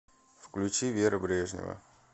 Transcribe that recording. включи вера брежнева